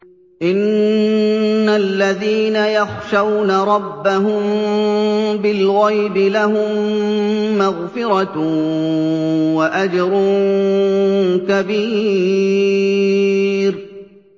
إِنَّ الَّذِينَ يَخْشَوْنَ رَبَّهُم بِالْغَيْبِ لَهُم مَّغْفِرَةٌ وَأَجْرٌ كَبِيرٌ